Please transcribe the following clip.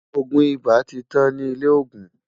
ògún ibà tí tán ní ilè ògún